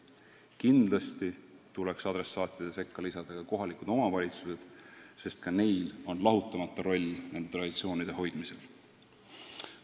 Kindlasti tuleks adressaatide sekka lisada kohalikud omavalitsused, sest ka neil on lahutamatu roll nende traditsioonide hoidmisel.